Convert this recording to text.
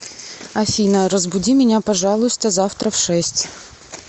афина разбуди меня пожалуйста завтра в шесть